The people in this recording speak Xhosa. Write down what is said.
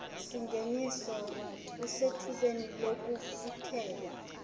singeniso usethubeni lokufuthela